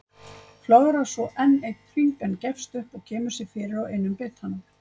Flögrar svo enn einn hring en gefst upp og kemur sér fyrir á einum bitanum.